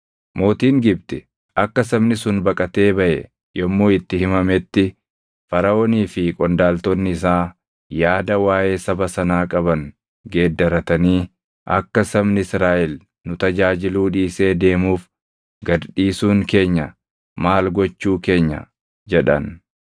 Mootiin Gibxi akka sabni sun baqatee baʼe yommuu itti himametti Faraʼoonii fi qondaaltonni isaa yaada waaʼee saba sanaa qaban geeddarratanii, “Akka sabni Israaʼel nu tajaajiluu dhiisee deemuuf gad dhiisuun keenya maal gochuu keenya?” jedhan.